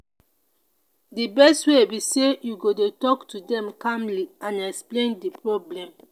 di best way be say you go dey talk to dem calmly and explain di problem.